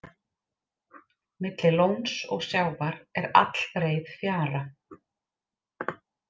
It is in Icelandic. Milli lóns og sjávar er allbreið fjara.